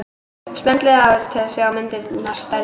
Smellið til að sjá myndina stærri.